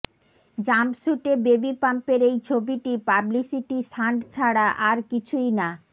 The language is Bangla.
জাম্পস্যুটে বেবিবাম্পের এই ছবিটি পাবলিসিটি সান্ট ছাড়া আর কিছুই না